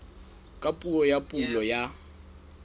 ka puo ya pulo ya